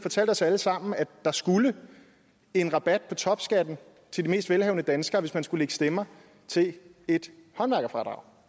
os alle sammen at der skulle en rabat på topskatten til de mest velhavende danskere hvis man skulle stemmer til et håndværkerfradrag